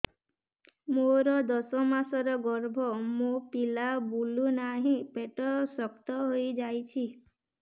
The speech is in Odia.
ମୋର ଦଶ ମାସର ଗର୍ଭ ମୋ ପିଲା ବୁଲୁ ନାହିଁ ପେଟ ଶକ୍ତ ହେଇଯାଉଛି